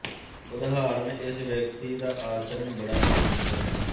ਉਦਾਹਰਨਇਸ ਵਿਅਕਤੀ ਦਾ ਆਚਰਨ ਬੜਾ ਹੀ ਭਿਅੰਕਰ ਹੈ